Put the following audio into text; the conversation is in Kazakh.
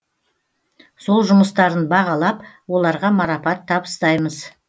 сол жұмыстарын бағалап оларға марапат табыстаймыз